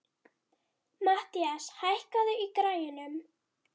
Mathías, hækkaðu í græjunum.